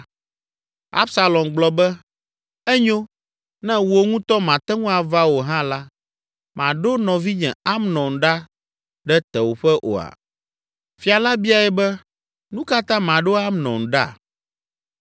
Absalom gblɔ be, “Enyo; ne wò ŋutɔ màte ŋu ava o hã la, màɖo nɔvinye, Amnon ɖa ɖe tewòƒe oa?” Fia la biae be, “Nu ka ta maɖo Amnon ɖa?”